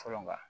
Fɔlɔ nka